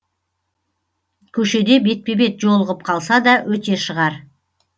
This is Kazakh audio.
көшеде бетпе бет жолығып қалса да өте шығар